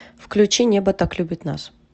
включи небо так любит нас